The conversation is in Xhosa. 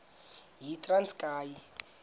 yitranskayi